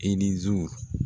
E ni zu.